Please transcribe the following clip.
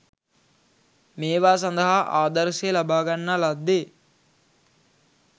මේවා සඳහා ආදර්ශය ලබාගන්නා ලද්දේ